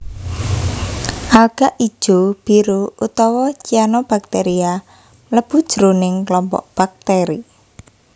Alga ijo biru utawa Cyanobacteria mlebu jroning klompok baktèri